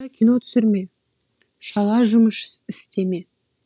онда кино түсірме шала жұмыс істеме